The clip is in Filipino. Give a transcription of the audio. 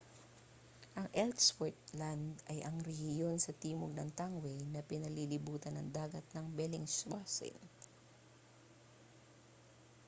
ang ellsworth land ay ang rehiyon sa timog ng tangway na pinalilibutan ng dagat ng bellingshausen